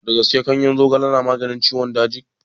Da gaske ganyen zogale na maganin ciwon daji?